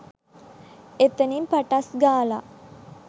එතනින් පටස් ගාලා